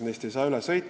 Neist ei saa üle sõita.